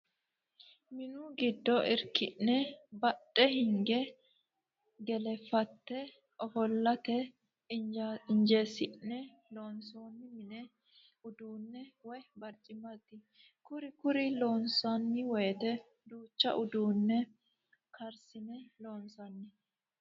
Minu giddo irki'ne badhe hinge gelefate ofollate injesine loonsoni mini uduune woyi barcimati kuri kuri loonsanni woyte duucha uduune karsine loonsanni.